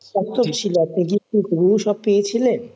হুবহু সব পেয়েছিলে?